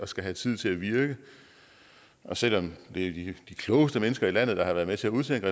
skal have tid til at virke og selv om det er de klogeste mennesker i landet der har været med til at udtænke